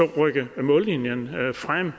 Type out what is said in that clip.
rykke mållinjen frem